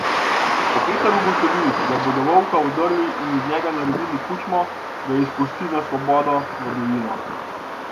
Ko Peter ugotovi, da bodo volka odrli in iz njega naredili kučmo, ga izpusti na svobodo, v divjino.